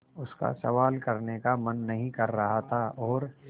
उसका सवाल करने का मन नहीं कर रहा था और